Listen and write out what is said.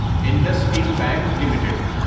Indus and bank limited